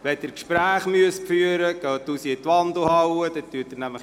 Wenn Sie Gespräche führen müssen, gehen Sie dazu bitte in die Wandelhalle.